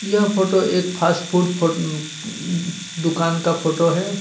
यह फोटो एक fast food फोट दुकान का फोटो है. दूका--